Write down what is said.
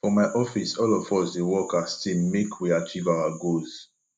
for my office all of us dey work as team make we achieve our goals